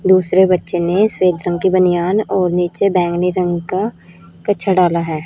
दूसरे बच्चे ने श्वेत रंग की बनियान और नीचे बैंगनी रंग का कच्छा डाला है।